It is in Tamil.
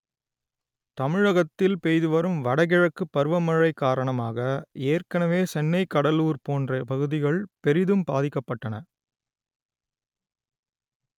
தமிழகத்தில் பெய்து வரும் வடகிழக்கு பருவமழை காரணமாக ஏற்கனவே சென்னை கடலூர் போன்ற பகுதிகள் பெரிதும் பாதிக்கப்பட்டன